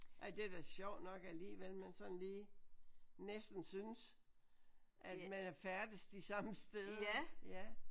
Ej det er da sjovt nok alligevel man sådan lige næsten synes at man er færdes de samme steder ja